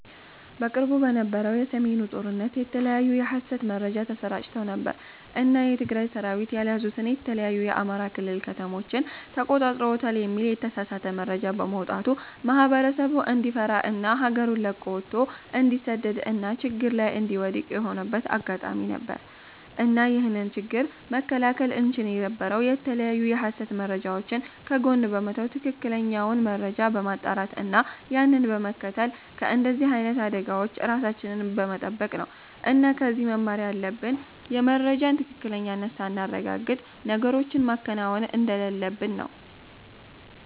በቅርቡ በነበረው የ ሰሜኑ ጦርነት የተለያዩ የ ሀሰት መረጃ ተሰራጭተው ነበር እና የ ትግራይ ሰራዊት ያልያዙትን የተለያዩ የ አማራ ክልል ከተሞችን ተቆጣጥረውታል የሚል የተሳሳተ መረጃ በመውጣቱ ማህበረሰቡ እንዲፈራ እና ሀገሩን ለቆ ወቶ እንዲሰደድ እና ችግር ላይ እንዲወድክቅ የሆነበት አጋጣሚ ነበር። እና ይህንን ችግር መከላከል እንቺል የነበረው የተለያዩ የሀሰት መረጃወችን ከጎን በመተው ትክክለኛውን መረጃ በማጣራት እና ያንን በመከተል ከንደዚህ አይነት አደጋወች ራሳችንን በመተበቅ ነው እና ከዚህ መማር ያለብን የመረጃን ትክክለኝነት ሳናረጋግጥ ነገሮችን ማከናወን እንደሌለብን ነው